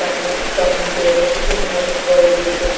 कमु कम डेप में है प्रोविजन --